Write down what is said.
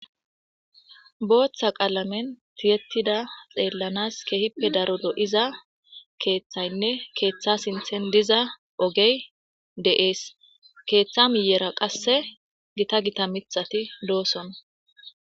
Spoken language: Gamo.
Booththa qalammen tiyettida xeelanas keehippe daro lo'iza keththaynne keththa sinththen diza oggey de'es. Keththa miyera qase gitta gitta miththatti de'ossona.